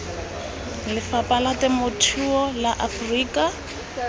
lephata la temothuo la aforika